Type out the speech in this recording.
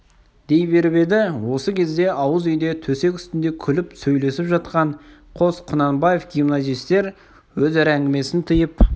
дей беріп еді осы кезде ауыз үйде төсек үстінде күліп сөйлесіп жатқан қос құнанбаев гимназистер өзара әңгімесін тыйып